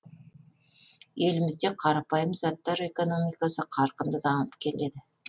елімізде қарапайым заттар экономикасы қарқынды дамып келеді